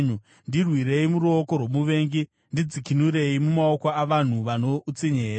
ndirwirei muruoko rwomuvengi, ndidzikinurei mumaoko avanhu vano utsinye’ here?